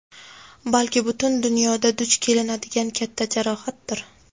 balki butun dunyoda duch kelinadigan katta jarohatdir.